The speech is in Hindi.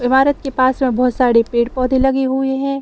इमारत के पास में बहुत सारे पेड़-पौधे लगे हुए है।